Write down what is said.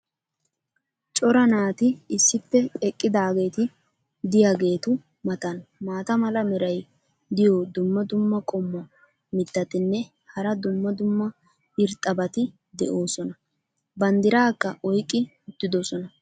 cora naati issippe eqqaageeti diyaageetu matan maata mala meray diyo dumma dumma qommo mitattinne hara dumma dumma irxxabati de'oosona. banddiraakka oyqqi uttidosona.